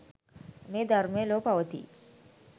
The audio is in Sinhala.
මේ ධර්මය ලොව පවති යි.